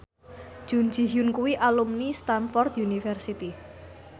Jun Ji Hyun kuwi alumni Stamford University